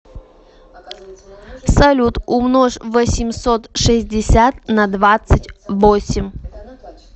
салют умножь восемьсот шестьдесят на двадцать восемь